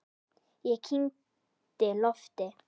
Ég kyngdi lofti.